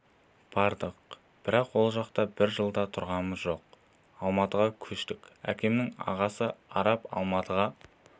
бардық бірақ ол жақта бір жыл да тұрғамыз жоқ алматыға көштік әкемнің ағасы араб алматыға